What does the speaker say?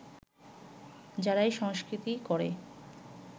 যারাই সংস্কৃতি করে